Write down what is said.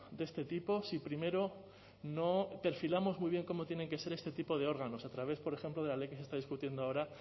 de este tipo si primero no perfilamos muy bien cómo tienen que ser este tipo de órganos a través por ejemplo de la ley que se está discutiendo ahora